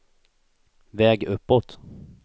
väg uppåt